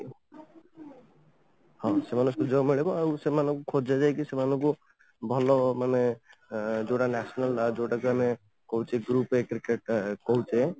ହଁ , ସେମାନଙ୍କୁ ସୁଯୋଗ ମିଳିବ ଆଉ ସେମାନଙ୍କୁ ଖୋଜା ଯାଇକି ସେମାନଙ୍କୁ ଭଲ ମାନେ ଯୋଉଟା national ଯୋଉଟା କି ଆମେ କହୁଛେ group a cricket କହୁଛେ